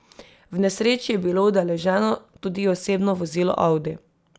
V nesreči je bilo udeleženo tudi osebno vozilo audi.